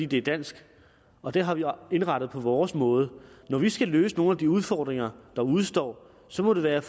det er dansk og det har vi indrettet på vores måde når vi skal løse nogle af de udfordringer der udestår så må det være